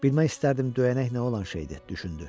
Bilmək istərdim döyənək nə olan şeydir, düşündü.